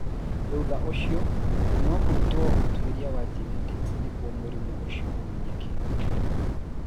Thutha ũcio, no kũrutwo ũtuĩria wa genetics nĩguo mũrimũ ũcio ũmenyeke.